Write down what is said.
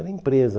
Era a empresa.